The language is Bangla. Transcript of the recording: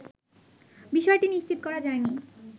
বিষয়টি নিশ্চিত করা যায়নি